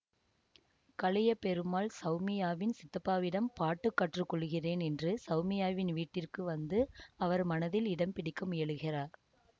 கலியபெருமாள் சௌமியாவின் சித்தப்பாவிடம் பாட்டு கற்றுக்கொள்ளுகிறேன் என்று சௌமியாவின் வீட்டிற்கு வந்து அவர் மனதில் இடம் பிடிக்க முயலுகிறார்